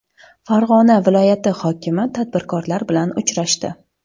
Farg‘ona viloyati hokimi tadbirkorlar bilan uchrashdi.